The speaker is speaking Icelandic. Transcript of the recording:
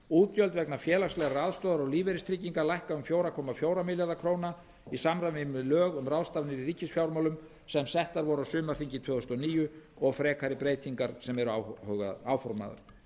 útgjöld vegna félagslegrar aðstoðar og lífeyristrygginga lækka um fjóra komma fjóra milljarða króna í samræmi við lög um ráðstafanir í ríkisfjármálum sem sett voru á sumarþingi tvö þúsund og níu og frekari breytingar sem eru áformaðar